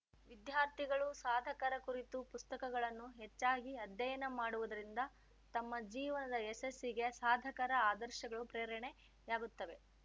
ವಿದ್ಯಾರ್ಥಿಗಳು ಸಾಧಕರ ಕುರಿತ ಪುಸ್ತಕಗಳನ್ನು ಹೆಚ್ಚಾಗಿ ಅಧ್ಯಯನ ಮಾಡುವುದರಿಂದ ತಮ್ಮ ಜೀವನದ ಯಶಸ್ಸಿಗೆ ಸಾಧಕರ ಆದರ್ಶಗಳು ಪ್ರೇರಣೆಯಾಗುತ್ತವೆ